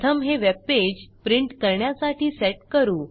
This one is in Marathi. प्रथम हे वेबपेज प्रिंट करण्यासाठी सेट करू